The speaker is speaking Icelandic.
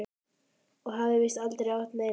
Og hafði víst aldrei átt neina.